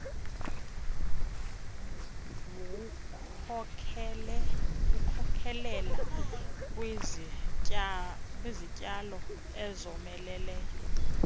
wkhokelela kwizityalo ezomeleleyo